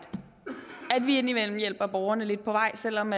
at vi indimellem hjælper borgerne lidt på vej selv om